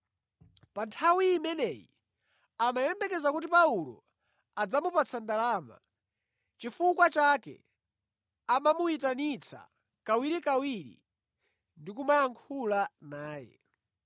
Pa nthawi imeneyi amayembekeza kuti Paulo adzamupatsa ndalama, nʼchifukwa chake amamuyitanitsa kawirikawiri ndi kumayankhula naye.